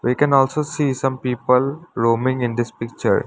We can also see some people roaming in this picture.